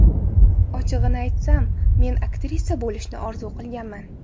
Ochig‘ini aytsam, men aktrisa bo‘lishni orzu qilmaganman.